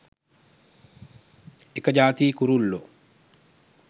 එක ජාතියේ කුරුල්ලෝ.